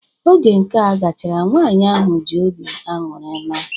Oge nka gachara, nwaanyị ahụ ji obi ańụri naa.